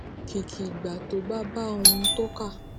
kìkì ìgbà tó bá bá ohun tó kà